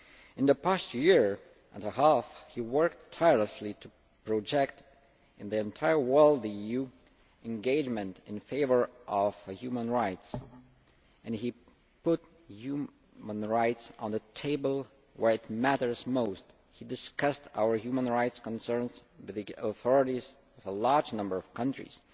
In the past year and a half he worked tirelessly to project in the entire world the EU engagement in favour of human rights. He put human rights on the table where it matters most, he discussed our human rights concerns with the authorities of a large number of countries